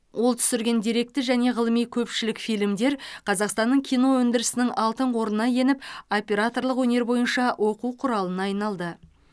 ол түсірген деректі және ғылыми көпшілік фильмдер қазақстанның кино өндірісінің алтын қорына еніп операторлық өнер бойынша оқу құралына айналды